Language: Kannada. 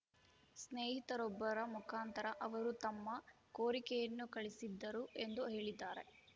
ಸ್ನೇಹಿತರೊಬ್ಬರ ಮುಖಾಂತರ ಅವರು ತಮ್ಮ ಕೋರಿಕೆಯನ್ನು ಕಳಿಸಿದ್ದರು ಎಂದು ಹೇಳಿದ್ದಾರೆ